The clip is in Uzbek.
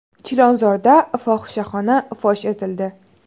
Chilonzorda fohishaxona fosh etildi.